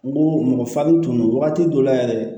N ko mɔgɔ farini tun don wagati dɔ la yɛrɛ